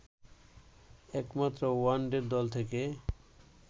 একমাত্র ওয়ানডের দল থেকে